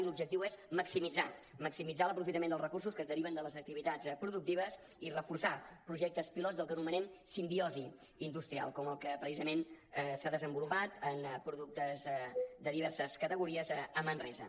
i l’objectiu és maximitzar maximitzar l’aprofitament dels recursos que es deriven de les activitats productives i reforçar projectes pilots del que anomenem simbiosi industrial com el que precisament s’ha desenvolupat en productes de diverses categories a manresa